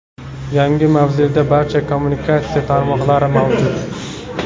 Yangi mavzeda barcha kommunikatsiya tarmoqlari mavjud.